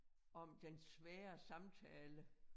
Om den svære samtale